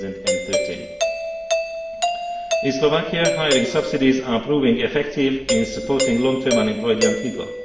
2013. In Slovakia, hiring subsidies are proving effective in supporting long term unemployed young people.